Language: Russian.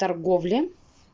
торговли